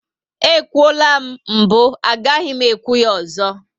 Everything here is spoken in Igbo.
E kwuola m mbụ, agaghị m ekwu ya ozo